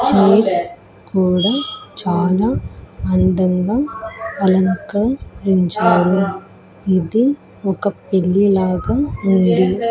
Chairs కూడా చాలా అందంగా అలంకరించారు ఇది ఒక పెళ్లి లాగా ఉంది.